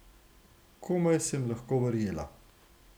Komaj sem lahko verjela.